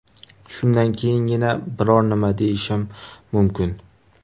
Shundan keyingina biror nima deyishim mumkin.